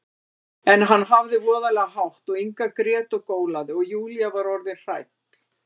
En hann hafði voðalega hátt og Inga grét og gólaði, og Júlía var orðin hrædd.